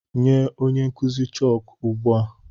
Nye onye nkụzi chọọkụ ugbu a!